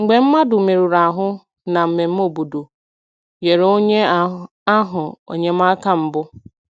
Mgbe mmadụ merụrụ ahụ na mmemme obodo, nyere onye ahụ enyemaka mbụ.